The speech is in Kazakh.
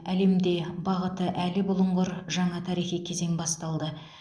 әлемде бағыты әлі бұлыңғыр жаңа тарихи кезең басталды